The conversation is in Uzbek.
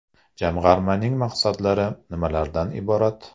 Jamg‘armaning maqsadlari nimalardan iborat ?